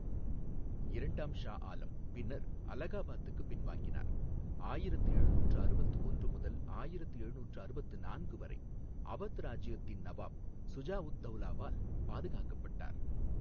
இரண்டாம் ஷா ஆலம் பின்னர் அலகாபாத்துக்கு பின்வாங்கினார், ஆயிரத்து எழுநூற்று அறுபத்து ஒன்று முதல் ஆயிரத்து எழுநூற்று அறுபத்து நான்கு வரை அவத் ராஜ்ஜியத்தின் நவாப் சுஜா உத் தௌலாவால் பாதுகாக்கப்பட்டார்.